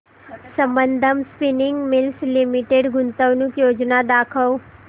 Sambandam spinning mills limited गुंतवणूक योजना दाखव